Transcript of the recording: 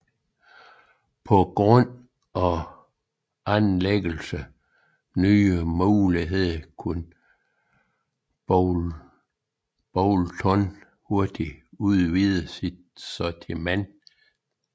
På grund af anlæggets nye muligheder kunne Boulton hurtigt udvide sit sortiment